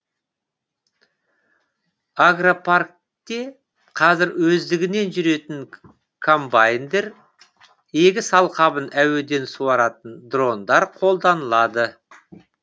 агропаркте қазір өздігінен жүретін комбайндар егіс алқабын әуеден суаратын дрондар қолданылады